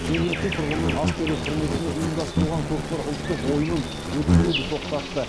жергілікті тұрғынның ас беру құрметіне ұйымдастырылған көкпар ұлттық ойынын өткізуді тоқтатты